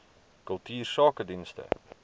kultuursakedienste